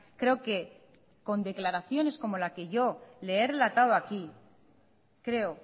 creo que con declaraciones como la que yo le he relatado aquí creo